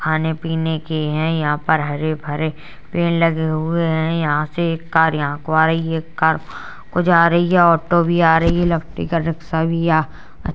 खाने पीने के हैं यहाँ पर हरे-भरे पेड़ लगे हुए हैं। यहाँ से एक कार यहाँ को आ रही है एक कार वहाँ को जा रही है। ऑटो भी आ रही है लकड़ी का रिक्शा भी आ --